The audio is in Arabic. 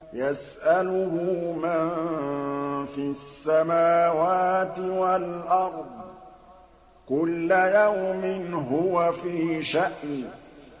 يَسْأَلُهُ مَن فِي السَّمَاوَاتِ وَالْأَرْضِ ۚ كُلَّ يَوْمٍ هُوَ فِي شَأْنٍ